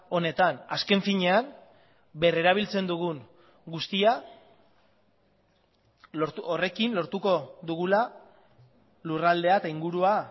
honetan azken finean berrerabiltzen dugun guztia horrekin lortuko dugula lurraldea eta ingurua